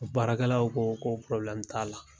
Baarakɛlaw ko ko t'a la.